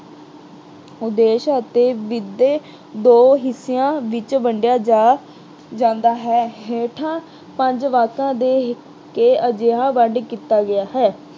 ਉਦੇਸ਼ ਅਤੇ ਦੋ ਹਿੱਸਿਆਂ ਵਿੱਚ ਵੰਡਿਆ ਜਾ ਅਹ ਜਾਂਦਾ ਹੈ। ਹੇਠਾਂ ਪੰਜ ਵਾਕ ਦੇ ਕੇ ਅਜਿਹਾ ਵੰਡ ਕੀਤਾ ਗਿਆ ਹੈ।